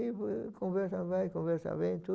E conversa vai, conversa vem, tudo.